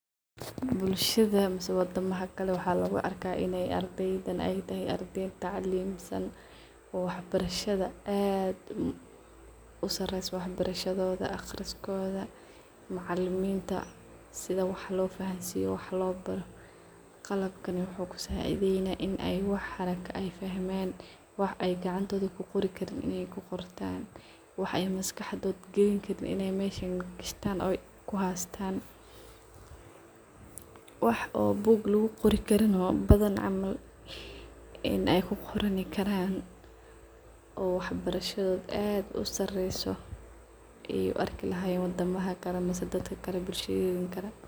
Bulshada ama wadamaha kale waxaa luguarkaah in ardeydan ay yihin ardey taclimsan waxbarashoda aqriskoda maciliminta sida wax lofahansiyo wax lo baro , qalabkani wuxu kusacideyni wax inuu bartah , wax inuu gacantoda kuqoran, wax walba bartan tas ad ay muhim utahay , sidas darted waxaa muhim ah in sifican .Wax bug laguqori karin in ay kuqortanoo waxbarasha ad usareyo ay uarki lahayen wadamada kale dadka kale bulshada kale.